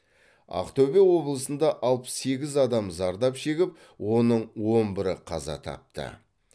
ақтөбе облысында алпыс сегіз адам зардап шегіп оның он бірі қаза тапты